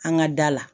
An ka da la